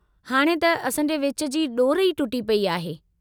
हाणे त असांजे विच जी डोर ई टुटी पेई आहे।